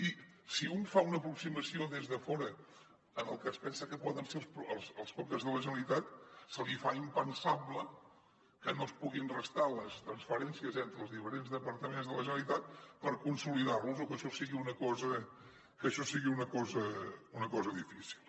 i si un fa una aproximació des de fora en el que es pensa que poden ser els comptes de la generalitat se li fa impensable que no es puguin restar les transferències entre els diferents departaments de la generalitat per consolidar los o que això sigui una cosa difícil